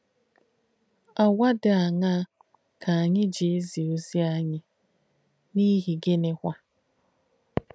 Àgwà dí àṅaa kà ànyì jì èzí èzí ozì ànyì, n’íhi gìnìkwá?